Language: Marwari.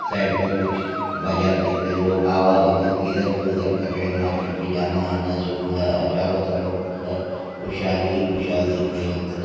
साइड में कुछ बाजार दिख रहे लो आवा गमन इधर का उधर कर रहे हैं मार्केट में जाना आना शुरू है और चारों तरफ खुशहाली ही खुशहाली दिख रही है धन्य--